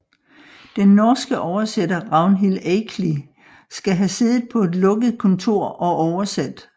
Den norske oversætter Ragnhild Eikli skal have siddet på et lukket kontor og oversat